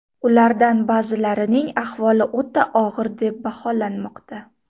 Ulardan ba’zilarining ahvoli o‘ta og‘ir deb baholanmoqda.